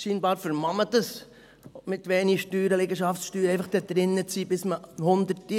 Offenbar kann man es sich leisten, mit wenig Steuern, Liegenschaftssteuern, einfach dort drin zu sein, bis man 100 ist.